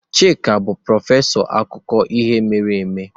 Chika bụ prọfesọ akụkọ ihe mere eme.